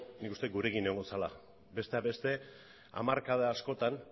nik uste gurekin egongo zela besteak beste hamarkada askotan